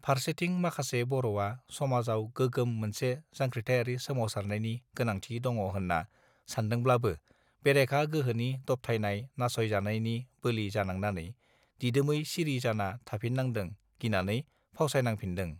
फारसेथिं माखासे बरआ समाजाव गोगोम मोनसे जांख्रिथाइयारि सोमावसारनायनि गोनांथि दङहोनना सानदोंब्लाबो बेरेखा गोहोनि दबथायनाय नासयजानायनि बोलि जानांनानै दिदोमै सिरि जाना थाफिननांदों गिनानै फावसायनांफिननंदो